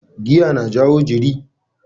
Giya na jawo jiri.